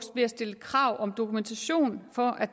ved at stille krav om dokumentation for at